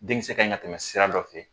Denkisɛ kaɲi ka tɛmɛ sira dɔ fe